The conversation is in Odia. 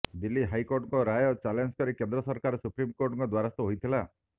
ଦିଲ୍ଲୀ ହାଇକୋର୍ଟଙ୍କ ରାୟକୁ ଚାଲେଞ୍ଜ୍ କରି କେନ୍ଦ୍ର ସରକାର ସୁପ୍ରିମକୋର୍ଟଙ୍କ ଦ୍ୱାରସ୍ଥ ହୋଇଥିଲା